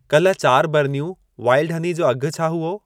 कल चारि बरनियूं वाइल्ड हनी जो अघि छा हुओ?